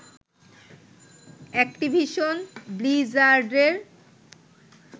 Activision ব্লিজার্ডের